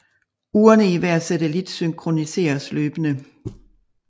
Urene i hver satellit synkroniseres løbende